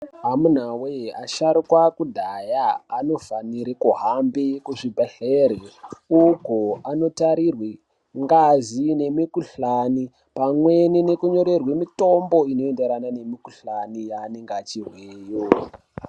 Amunawe asharukwa ekudhaya anofanire kuhambe ku zvibhedhleri uko ano tarirwe ngazi ne mi kuhlani pamweni neku nyorerwe mitombo ino enderana ne mi kuhlani yaanenge achizweyo.